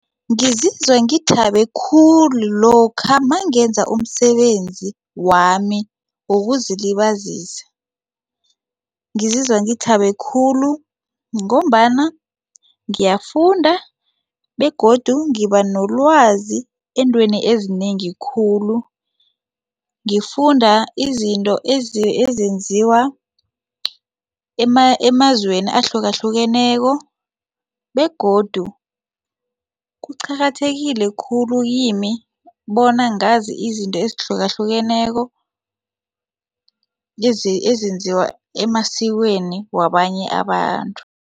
Ngizizwa ngithabe khulu lokha nangenza umsebenzi wami wokuzilibazisa ngizizwa ngithabe khulu ngombana ngiyafunda begodu ngiba nolwazi eentweni ezinengi khulu. Ngifunda izinto ezenziwa emazweni ahlukahlukeneko begodu kuqakathekile khulu kimi bona ngazi izinto ezihlukahlukeneko ezenziwa emasikweni wabanye abantu.